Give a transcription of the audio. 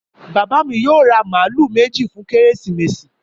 Bàbá mi yóò ra màálù méjì fún Kérésìmesì